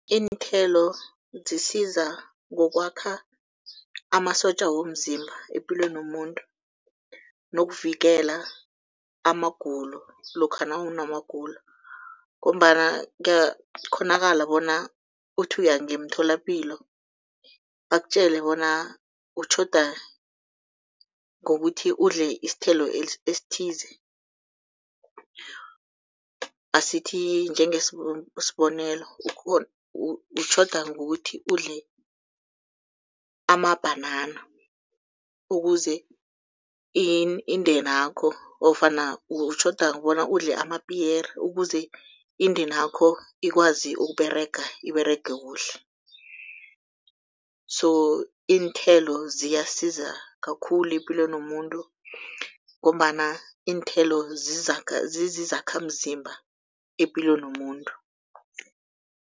Iinthelo zisiza ngokwakha amasotja womzimba epilweni yomuntu nokuvikela amagulo lokha nawunamagulo, ngombana kuyakhonakala bona uthi uya ngemtholapilo bakutjele bona utjhoda ngokuthi udle isithelo esithize. Asithi njenge sibonelo utjhoda ngokuthi udle amabhanana ukuze indeni yakho ofana utjhoda ngokobana udle amapiyere ukuze indeni yakho ikwazi ukUberega iberege kuhle. So iinthelo ziyasiza kakhulu epilweni yomuntu, ngombana iinthelo zizizakhamzimba epilweni yomuntu.